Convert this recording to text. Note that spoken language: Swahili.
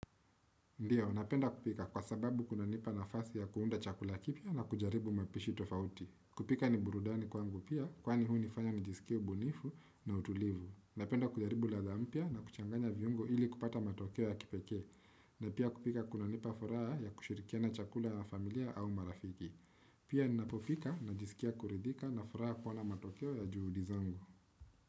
Ndiyo, napenda kupika kwa sababu kunanipa nafasi ya kuunda chakula kipya na kujaribu mapishi tofauti. Kupika ni burudani kwangu pia, kwani huu nifanya nijisikie ubunifu na utulivu. Napenda kujaribu ladha mpya na kuchanganya viungo ili kupata matokeo ya kipekee. Na pia kupika kunanipa furaha ya kushirikiana chakula ya familia au marafiki. Pia napopika najisikia kuridhika na furaha kuona matokeo ya juhudi zangu.